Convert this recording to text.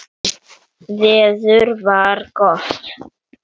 Veður var gott.